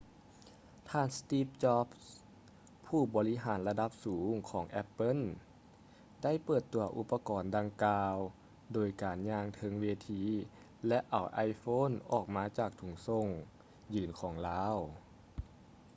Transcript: ທ່ານ ສະຕິບ ຈອບສ໌ steve jobs ຜູ້ບໍລິຫານລະດັບສູງຂອງ ແອັບເປິ້ນ apple ໄດ້ເປີດຕົວອຸປະກອນດັ່ງກ່າວໂດຍການຍ່າງເທິງເວທີ ແລະ ເອົາ iphone ອອກຈາກຖົງໂສ້ງຢີນຂອງລາວ